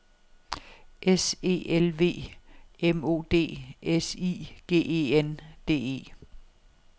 S E L V M O D S I G E N D E